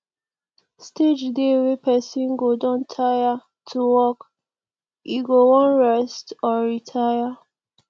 stage dey wey person go don tire to work e go wan rest or retire